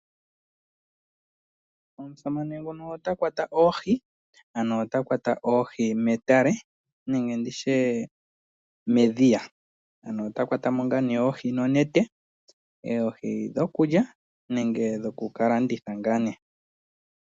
Omusamane nguka ota kwata oohi metale nenge ndi tye medhiya. Ota kwata mo oohi nonete. Oohi dhokulya nenge dhoku ka landitha.